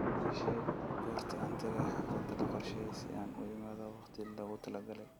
ii sheeg goorta aan tagayo xaflada la qorsheeyay si aan u imaado waqtigii loogu talagalay